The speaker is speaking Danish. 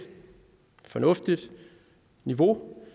fornuftigt niveau